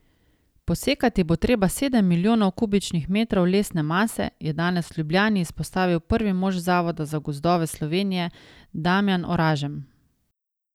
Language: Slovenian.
Posekati bo treba sedem milijonov kubičnih metrov lesne mase, je danes v Ljubljani izpostavil prvi mož Zavoda za gozdove Slovenije Damjan Oražem.